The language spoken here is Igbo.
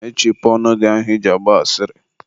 mechipụ ọnụ gị ahụ I ji agba asịrị.